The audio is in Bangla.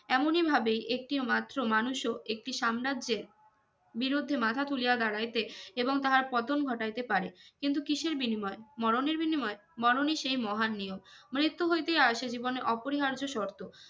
এমনি ভাবে একটিও মাত্র মানুষও একটি সাম্রাজ্যের বিরুদ্ধে মাথা তুলিয়া দারাইতে এবং তাহার পতন ঘটাইতে পারে কিন্তু কিসের বিনিমিয় মরনের বিনিমিয় মরনই সেই মহান নিয়ম মৃত্যু হইতে আইসা জীবনের অপরিহার্য শর্ত